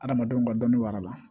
Adamadenw ka dɔnni wara la